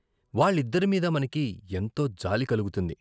వాళ్ళిద్దరి మీద మనకి ఎంతో జాలి కలుగుతుంది.